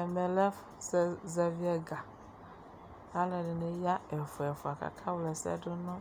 Ɛvɛ lɛ ɛfʋ zɛ zɛvɩ ɛga k'alʋɛdɩnɩ ya ɛfʋɛfʋa k'aka wlɛsɛdʋ̇ nʋ